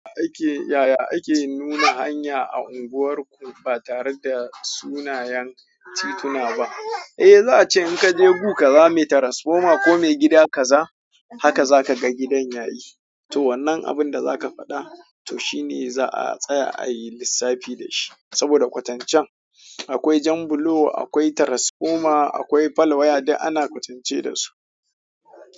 Yaya ake nuna hanya a unguwarku ba tare da sunayen tituna ba? Eh, za a ce in ka je gu, ka zama transformer ko ma gida ka za, haka za ka ga gidan yayi. To wannan abin da za ka faɗa, to shine za a tsaya a yi lissafi da shi. Saboda kwatancen akwai Janbulo, akwai transformer, akwai fal waya da ana kwatance da su.